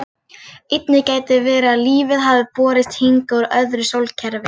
Einnig gæti verið að lífið hafi borist hingað úr öðru sólkerfi.